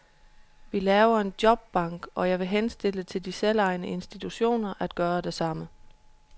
Vi laver en jobbank i kommunen, og jeg vil henstille til de selvejende institutioner at gøre det samme.